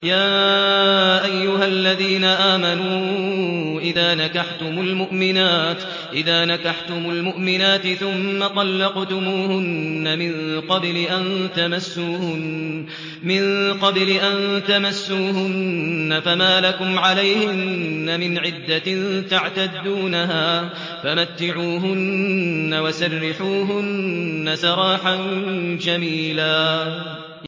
يَا أَيُّهَا الَّذِينَ آمَنُوا إِذَا نَكَحْتُمُ الْمُؤْمِنَاتِ ثُمَّ طَلَّقْتُمُوهُنَّ مِن قَبْلِ أَن تَمَسُّوهُنَّ فَمَا لَكُمْ عَلَيْهِنَّ مِنْ عِدَّةٍ تَعْتَدُّونَهَا ۖ فَمَتِّعُوهُنَّ وَسَرِّحُوهُنَّ سَرَاحًا جَمِيلًا